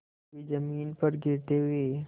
कभी जमीन पर गिरते हुए